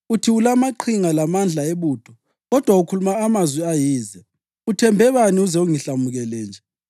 Uthi ulamaqhinga lamandla ebutho, kodwa ukhuluma amazwi ayize. Uthembe bani uze ungihlamukele nje?